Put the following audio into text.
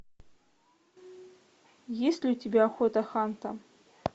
есть ли у тебя охота ханта